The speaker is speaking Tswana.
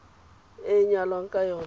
e a nyalwang ka yona